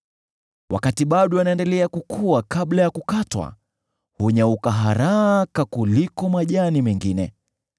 Wakati bado yanaendelea kukua kabla ya kukatwa, hunyauka haraka kuliko majani mengine.